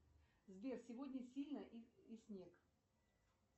сбер сегодня сильно и снег